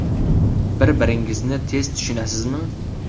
Bir-biringizni tez tushunasizmi?